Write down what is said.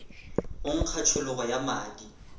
go nkga tšhologo ya madi